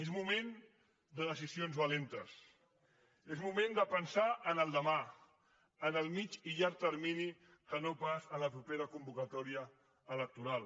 és moment de decisions valentes és moment de pensar en el demà en el mitjà i llarg termini i no pas en la propera convocatòria electoral